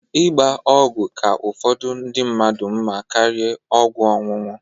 Ịgba ọgwụ ka ụfọdụ ndị mmadụ mma karia ọgwụ ọnụnụ.